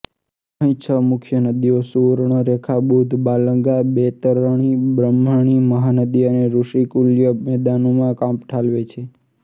અહીં છ મુખ્ય નદીઓ સુવર્ણરેખા બુધબાલંગા બૈતરણી બ્રહ્મણી મહાનદી અને ઋષિકુલ્ય મેદાનોમાં કાંપ ઠાલવે છે